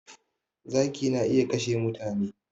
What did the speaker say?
Zaki na iya kashe mutane